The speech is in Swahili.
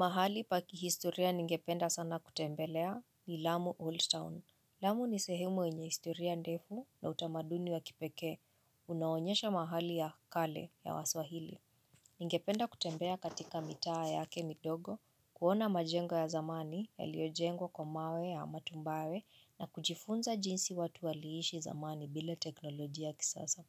Mahali paki historia ningependa sana kutembelea ni Lamu Holstown. Lamu ni sehemu yenye historia ndefu na utamaduni wa kipekee. Unaonyesha mahali ya kale ya waswahili. Ningependa kutembea katika mitaa yake midogo. Kuona majengo ya zamani yaliyo jengwa kwa mawe ya matumbawe na kujifunza jinsi watu waliishi zamani bila teknolojia ya kisasa.